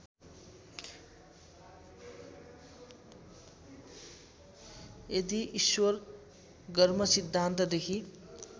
यदि ईश्वर गर्मसिद्धान्तदेखि